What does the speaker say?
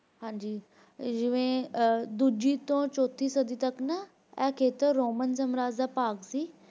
ਹਾਂਜੀ ਜਿਵੇ ਦੂਜੀ ਤੋਂ ਚੌਥੀ ਸਦੀ ਤੱਕ ਨਾ ਇਹ ਖੇਤਰ Roman ਸਾਮਰਾਜ ਦਾ ਭਾਗ ਸੀ